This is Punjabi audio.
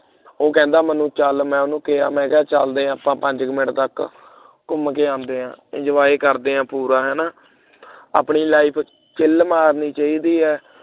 ਉਹ ਕਹਿੰਦਾ ਮੈਨੂੰ ਚੱਲ ਮੈਂ ਉਹਨੂੰ ਕਿਹਾ ਚਲਦੇ ਆਂ ਆਪਾਂ ਪੰਜ ਕੁ minute ਤੱਕ ਘੁੰਮ ਕੇ ਆਉਂਦੇ ਹਾਂ enjoy ਕਰਦੇ ਆਂ ਪੂਰਾ ਹੈ ਨਾ ਆਪਣੀ life chill ਮਾਰਨੀ ਚਾਹੀਦੀ ਹੈ